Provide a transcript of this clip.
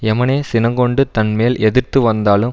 எமனே சினங்கொண்டு தன் மேல் எதிர்த்து வந்தாலும்